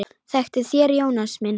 Þektuð þér Jónas minn?